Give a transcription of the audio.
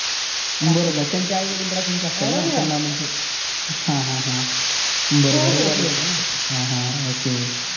बर बर त्यांचे आई वडील राशीनचेच असतील ना. हा हा बर बर रविवारी येतो न हा हा ok